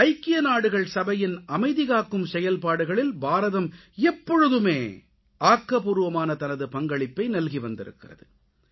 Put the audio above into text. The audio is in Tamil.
ஐக்கிய நாடுகள் சபையின் அமைதி காக்கும் செயல்பாடுகளில் பாரதம் எப்பொழுதுமே ஆக்கப்பூர்வமான தனது பங்களிப்பை நல்கி வந்திருக்கிறது